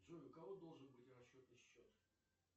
джой у кого должен быть расчетный счет